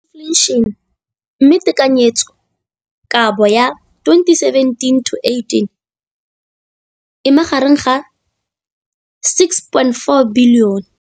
Infleišene, mme tekanyetsokabo ya 2017, 18, e magareng ga R6.4 bilione.